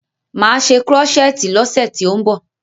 Máa ṣe krọ́ṣẹ́tì lọ́ṣe tí ó ń bọ̀.